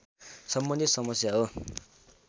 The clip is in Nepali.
सम्बन्धित समस्या हो